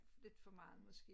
Lidt for meget måske